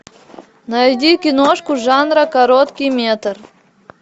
найди киношку жанра короткий метр